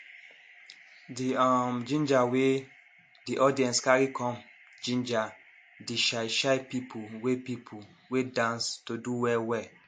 d um ginger wey de audience carry come ginger de shy shy people wey people wey dance to do well well